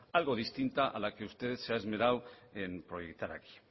algo distinta a la que usted se ha esmerado en proyectar aquí